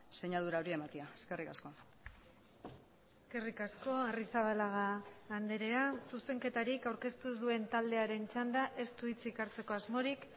sinadura hori ematea eskerrik asko eskerrik asko arrizabalaga andrea zuzenketarik aurkeztu ez duen taldearen txanda ez du hitzik hartzeko asmorik